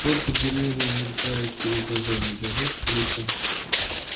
только деревья мелькают перед глазами да лепит в лицо